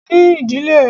Ní ìdílé ẹ!